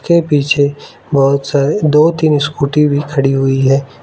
के पीछे बहुत सारे दो तीन स्कूटी भी खड़ी हुई है।